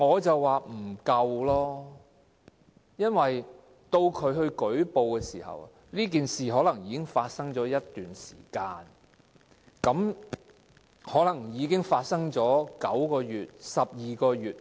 因為，到僱員作出舉報時，事件往往可能已經發生了一段時間，例如發生了9個月或12個月。